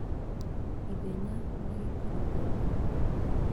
Ithenya na gĩkĩro kia mbegũ